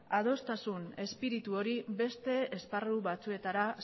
adostasun espiritu hori beste esparru batzuetara